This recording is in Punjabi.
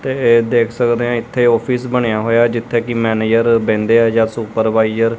ਤੇ ਦੇਖ ਸਕਦੇ ਆ ਇਥੇ ਆਫਿਸ ਬਣਿਆ ਹੋਇਆ ਜਿੱਥੇ ਕਿ ਮੈਨੇਜਰ ਬਹਿੰਦੇ ਆ ਜਾਂ ਸੁਪਰਵਾਈਜ਼ਰ ।